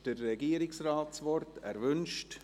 Somit hat der Regierungsrat das Wort.